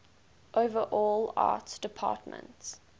overall art department